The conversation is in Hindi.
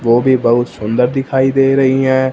वो भी बहुत सुंदर दिखाई दे रही हैं।